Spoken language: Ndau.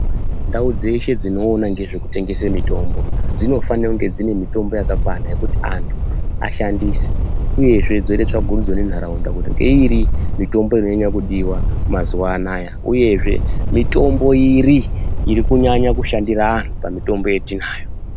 Ndau dzeshe dzinoona ngezvekutengese mitombo dzinofane kunge dzine mitombo yakakwana yekuti anthu ashandise uyezve dzondotsvagurudzo nentharaunda kuti ngeiri mitimbo inonyanye kudiwa mazuwaanaya uyezve mitombo iri iri kunyanya kushandira anthu pamitombo yatinayo.